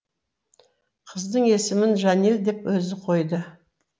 қыздың есімін жанель деп өзі қойды